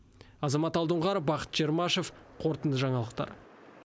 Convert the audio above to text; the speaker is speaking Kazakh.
азамат алдоңғаров бақыт чермашев қорытынды жаңалықтар